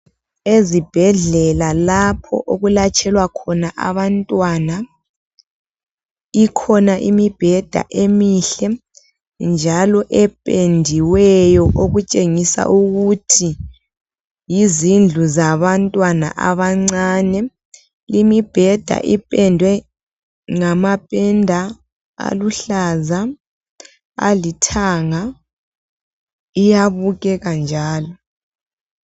Ezibhedlela lapho okulatshelwa khona abantwana , ikhona imibheda emihle njalo ependiweyo okutshengisa ukuthi yizindlu zabantwana abancane. Imibheda ipendwe ngamapenda aluhlaza, alithanga, iyabukeka njalo.